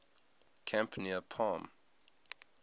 camp near palm